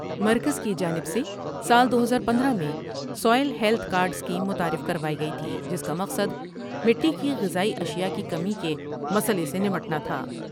مرکز کی جانب سے سال دو ہزار پندرہ میں soil health card scheme متعارف کروائی گئی تھی جس کا مقصد مٹی کی غذائی اشیاء کی کمی کے مسئلہ سے نمٹنا تھا ۔